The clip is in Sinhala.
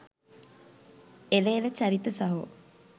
එල එල චරිත සහෝ